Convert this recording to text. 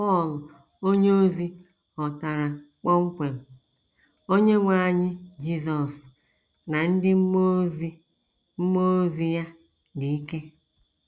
Pọl onyeozi hotara kpọmkwem, “ Onyenwe anyị Jizọs ” na “ ndị mmụọ ozi mmụọ ozi ya dị ike. ”